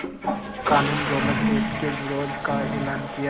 क़ानून Rowlatt act के विरोध का एलान किया